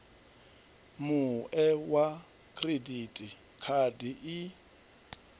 mue wa khiridithi khadi i